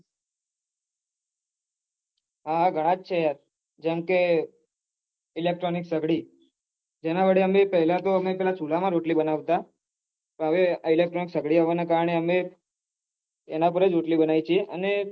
હા હા ઘણા છે જેમકે electronic સગળી જેના વડે પેહલા તો અમે ચુલા માં રોટલી બનાવતા electronic સગળી આવના કારણે હવે એના પર જ રોટલી બનાવી એ છીએ અને